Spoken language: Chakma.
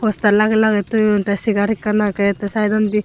postar lagey lagey toyon te segar ekkan agey te saetondi.